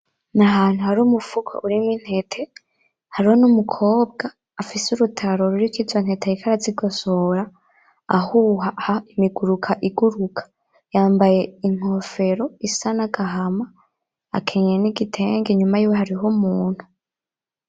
N'ahantu hari umufuko urimwo intete, hariho n'umukobwa afise urutaro ruriko izo ntete ariko arazigosora ahuha imiguruka iguruka, yambaye inkofero isa nagahama akenyeye n'igitenge inyuma yiwe hariyo umuntu